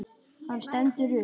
Hann stendur upp.